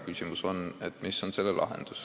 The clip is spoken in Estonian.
Küsimus on tõesti, mis on lahendus.